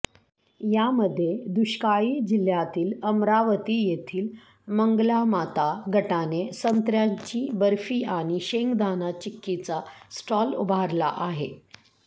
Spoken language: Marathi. यामध्ये दुष्काळी जिल्ह्यातील अमरावती येथील मंगलामाता गटाने संत्र्यांची बर्फी आणि शेंगदाणा चिक्कीचा स्टॉल उभारला आहे